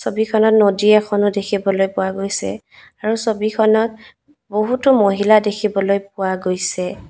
ছবিখনত নদী এখনো দেখিবলৈ পোৱা গৈছে আৰু ছবিখনত বহুতো মহিলা দেখিবলৈ পোৱা গৈছে।